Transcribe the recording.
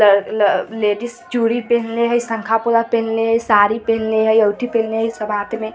ladies चूड़ी पहनले हई संखा पहनले हई साड़ी पहनले हई अंगूठी पहनले हई सब हाथ में --